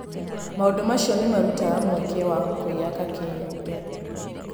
Maũndũ macio nĩ marutaga mweke wa kwĩyaka kĩũmbe.